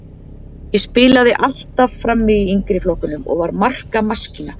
Ég spilaði alltaf frammi í yngri flokkunum og var markamaskína.